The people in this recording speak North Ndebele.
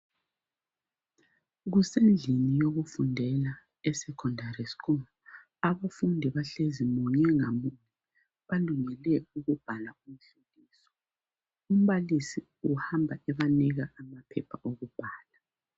Kusendlini yokufundela esecondary school, abafundi bahlezi munye ngamunye balungele ukubhala umhloliso. Umbalisi uhamba ebanika amaphepha okubhala.